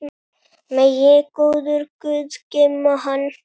Megi góður guð geyma hann.